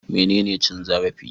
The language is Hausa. Menene cin zarafi?